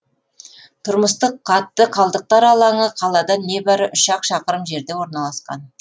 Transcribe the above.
тұрмыстық қатты қалдықтар алаңы қаладан небәрі үш ақ шақырым жерде орналасқан